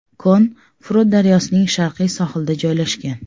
Kon Frot daryosining sharqiy sohilida joylashgan.